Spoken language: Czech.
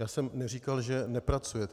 Já jsem neříkal, že nepracujete.